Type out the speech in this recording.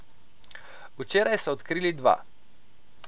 Včeraj so odkrili dva.